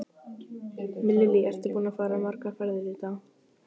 Lillý: Ertu búinn að fara margar ferðir í dag?